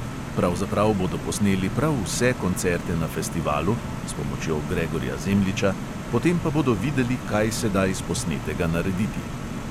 Pravzaprav bodo posneli prav vse koncerte na festivalu (s pomočjo gregorja zemljiča), potem pa bodo videli, kaj se da iz posnetega narediti.